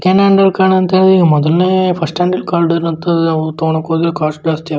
ತಕೊಂಡ್ ಹೋದ್ರೆ ಕಾಸ್ಟ್ ಜಾಸ್ತಿ.